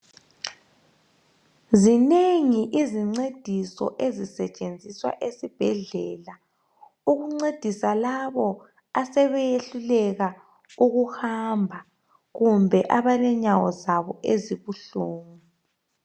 Zinengi izincediso ezisetshenziswa esibhedlela. Ezokuncedisa labo asebesehluleka ukuhamba, kumbe abalenyawo zabo ezibuhlungu.